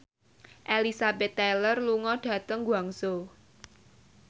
Elizabeth Taylor lunga dhateng Guangzhou